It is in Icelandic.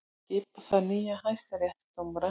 Skipa þarf nýja hæstaréttardómara